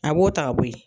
A b'o ta ka bɔ ye